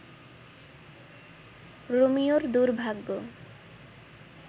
রোমিওর দুর্ভাগ্য